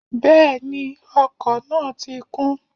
Bẹ́ẹ̀ni, ọkọ̀ náà ti kún